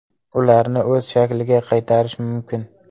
Ularni o‘z shakliga qaytarish mumkin.